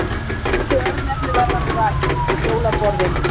Þessi örnefni verða nú rakin: Jólaborðin